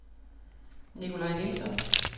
Nikolaj Nilsson